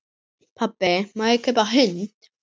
Pabbi, má ég kaupa hund?